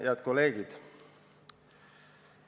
Head kolleegid!